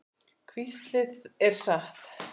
Hvíslið er satt.